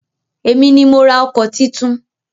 Èmi ni mo ra ọkọ̀ titun.